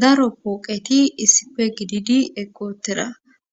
Daro pooqeti issife gididi eqootera